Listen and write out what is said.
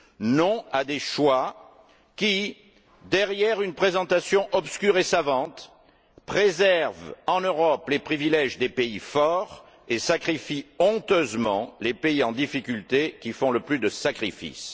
Non à des choix qui, derrière une présentation obscure et savante, préservent en Europe les privilèges des pays forts et sacrifient honteusement les pays en difficulté qui font le plus de sacrifices.